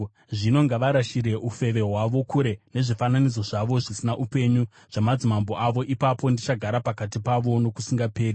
Zvino ngavarashire ufeve hwavo kure nezvifananidzo zvavo zvisina upenyu zvamadzimambo avo, ipapo ndichagara pakati pavo nokusingaperi.